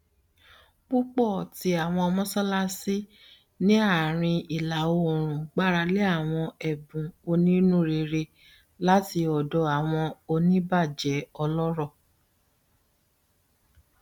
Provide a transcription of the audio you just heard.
pupọ ti awọn mọṣalaṣi ni aarin ilaoorun gbarale awọn ẹbun oninurere lati ọdọ awọn onibajẹ ọlọrọ